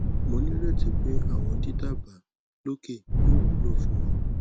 mo nireti pe awọn didaba loke yoo wulo fun ọ